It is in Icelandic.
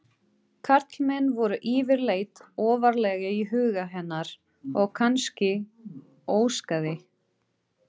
Karlmenn voru yfirleitt ofarlega í huga hennar og kannski óskaði